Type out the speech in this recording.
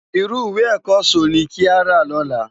Irú iwé èkò so ni ki á rá lòlá